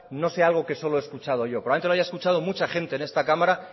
no sea algo que solo he escuchado yo probablemente lo haya escuchado mucha gente en esta cámara